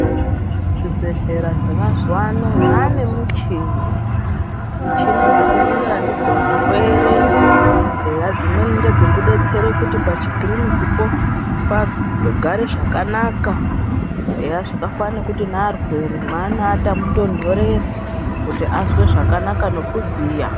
Zvibhedhlera zvemazuva ano zvane michini. Michini dzekuningira ndidzo arwere eya dzimweni ngedzekubetsere kuti pachikirinikipo pagare zvakanaka. Eya zvakafanana nekuti nearwere maanoata muntorere kuti azwe zvakanaka nekudziya.